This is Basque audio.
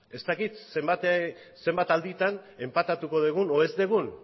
ez dakit zenbat alditan enpatatuko dugun edo ez dugun